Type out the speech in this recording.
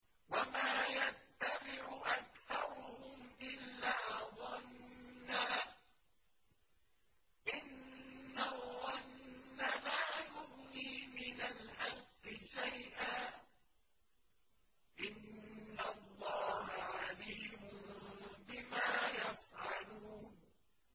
وَمَا يَتَّبِعُ أَكْثَرُهُمْ إِلَّا ظَنًّا ۚ إِنَّ الظَّنَّ لَا يُغْنِي مِنَ الْحَقِّ شَيْئًا ۚ إِنَّ اللَّهَ عَلِيمٌ بِمَا يَفْعَلُونَ